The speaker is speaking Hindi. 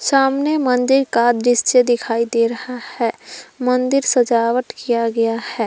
सामने मंदिर का दृश्य दिखाई दे रहा है मंदिर सजावट किया गया है।